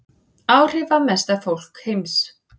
Áhrifamesta fólk heims